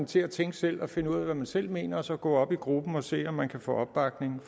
til at tænke selv og finde ud af hvad man selv mener og så gå op i gruppen og se om man kan få opbakning